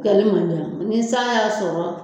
ni san y'a sɔrɔ